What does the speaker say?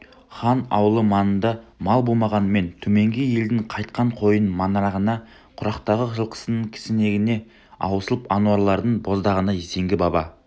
хан аулы маңында мал болмағанмен төменгі елдің қайтқан қойының маңырағаны құрақтағы жылқысының кісінегені аусыл аруаналардың боздағаны зеңгі баба